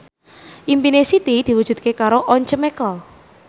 impine Siti diwujudke karo Once Mekel